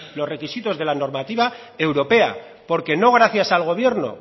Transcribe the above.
los requisitos de la normativa europea porque no gracias al gobierno